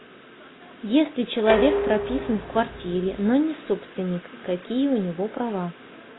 если человек прописан в квартире но не собственник какие у него права